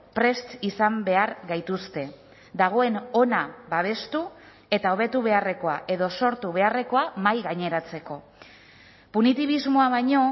prest izan behar gaituzte dagoen ona babestu eta hobetu beharrekoa edo sortu beharrekoa mahaigaineratzeko punitibismoa baino